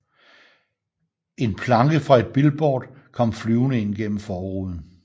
En planke fra et billboard kom flyvende ind gennem forruden